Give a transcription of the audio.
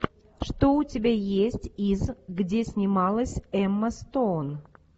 что у тебя есть из где снималась эмма стоун